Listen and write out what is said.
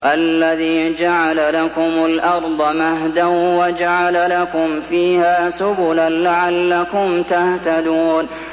الَّذِي جَعَلَ لَكُمُ الْأَرْضَ مَهْدًا وَجَعَلَ لَكُمْ فِيهَا سُبُلًا لَّعَلَّكُمْ تَهْتَدُونَ